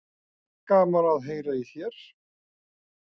En gaman að heyra í þér.